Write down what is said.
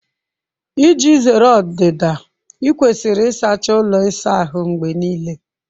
Iji zere ọdịda, ị kwesịrị ịsacha ụlọ ịsa ahụ mgbe niile